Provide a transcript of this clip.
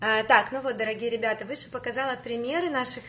а так ну вот дорогие ребята выше показала примеры наших